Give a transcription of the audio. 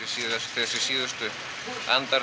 síðustu andartök